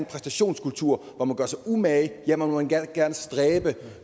præstationskultur hvor man gør sig umage ja man må gerne stræbe